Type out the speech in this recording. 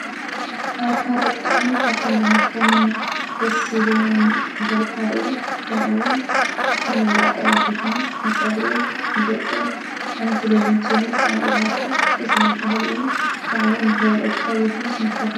ኣትክልትን ኣሕምልትን ካብ መሬት ዝበቁሉ ተፈጥሯዊ መግቢ እዮም። ንሰውነት ዘድልዩ ቫይታሚን፣ ሚነራልን ፋይበርን ይሃቡ። ጥዕና ንምሕባርን ሕማም ንምክልኻልን ብጣዕሚ ይሕግዙ።